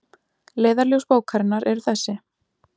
Leiðarljós bókarinnar eru þessi